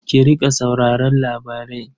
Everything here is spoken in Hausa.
Ki riƙa sauraron labarai.